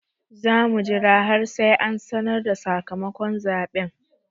Za mu jira har sai an sanar da sakamakon zaɓen.